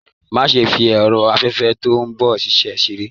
Má ṣe fí ẹrọ afẹfẹ tó n ṣiṣẹ ṣeré!